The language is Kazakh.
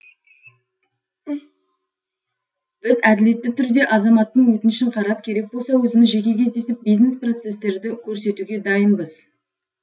біз әділетті түрде азаматтың өтінішін қарап керек болса өзіміз жеке кездесіп бизнес процесстерді көрсетуге дайынбыз